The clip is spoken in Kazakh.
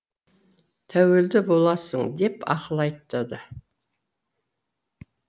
тәуелді боласың деп ақыл айтады